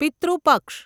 પિતૃ પક્ષ